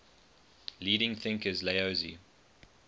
leading thinkers laozi